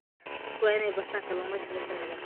Dadku waa inay bartaan kalluumaysiga sharciga ah.